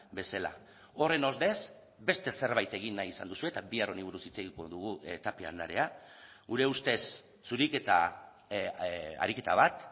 bezala horren ordez beste zerbait egin nahi izan duzue eta bihar honi buruz hitz egingo dugu tapia andrea gure ustez zuriketa ariketa bat